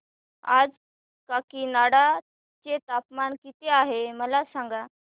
आज काकीनाडा चे तापमान किती आहे मला सांगा